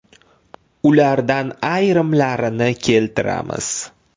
Ulardan ayrimlarini keltiramiz.